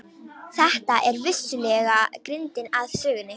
Þetta er vissulega grindin að sögunni.